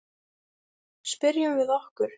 Spyrjum við okkur.